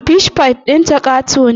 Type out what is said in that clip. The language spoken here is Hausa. Fish pie ɗinta ƙato ne